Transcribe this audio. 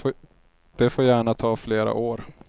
Det får gärna ta flera år.